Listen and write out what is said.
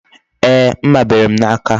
Ee, mma bere m n'aka